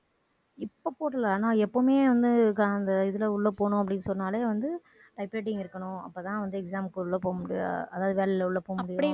இப்ப போடல ஆனா எப்பவுமே வந்து அந்த இதுல உள்ள போனோம், அப்படின்னு சொன்னாலே வந்து type writing இருக்கணும் அப்பத்தான் வந்து exam க்கு உள்ள போக முடியும் அதாவது வேலையில உள்ள போக முடியும்